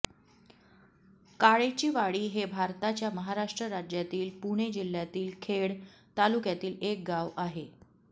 काळेचीवाडी हे भारताच्या महाराष्ट्र राज्यातील पुणे जिल्ह्यातील खेड तालुक्यातील एक गाव आहे